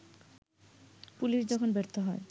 police যখন ব্যর্থ হয়